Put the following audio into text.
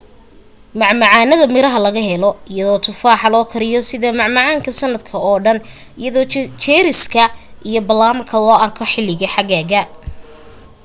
macmacaanada miraha waa la helaa iyadoo tufaaxa loo kariyo sida macmacaanka sanadka oo dhan iyadoo jeeriska iyo balaamka la arko xilliga xagaaga